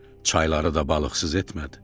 Çayları da balıqsız etmədi.